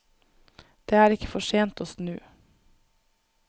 Det er ikke for sent å snu.